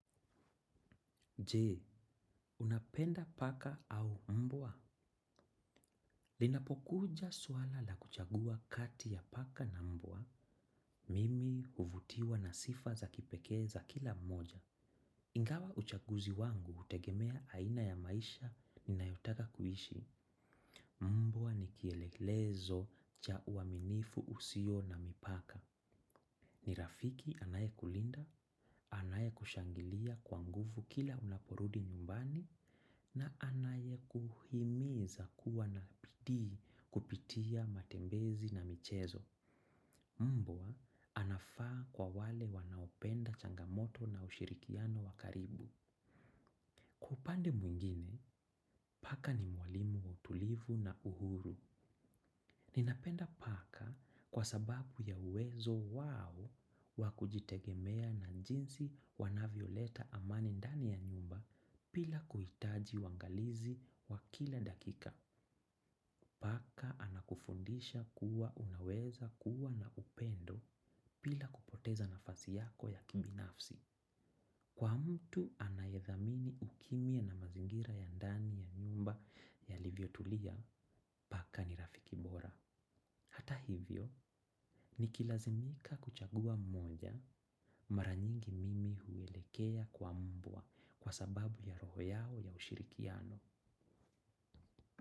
Je, unapenda paka au mbwa? Linapokuja suala la kuchagua kati ya paka na mbwa mimi huvutiwa na sifa za kipekee za kila mmoja. Ingawa uchaguzi wangu hutegemea aina ya maisha ninayotaka kuhishi. Mbwa ni kielelezo cha uaminifu usio na mipaka. Ni rafiki anaye kulinda, anaye kushangilia kwangufu kila unaporudi nyumbani na anaye kuhimiza kuwa na pidii kupitia matembezi na michezo. Mbwa anafaa kwa wale wanaopenda changamoto na ushirikiano wakaribu. Upande mwingine, paka ni mwalimu wa utulivu na uhuru. Ninapenda paka kwa sababu ya uwezo wao wakujitegemea na njinsi wanavioleta amani ndani ya nyumba pila kuitaji wangalizi wakila dakika. Paka anakufundisha kuwa unaweza kuwa na upendo bila kupoteza nafasi yako ya kibinafsi. Kwa mtu anayethamini ukimia na mazingira ya ndani ya nyumba yalivyotulia, paka ni rafiki bora. Hata hivyo, nikilazimika kuchagua mmoja mara nyingi mimi huwelekea kwa mbwa kwa sababu ya roho yao ya ushirikiano.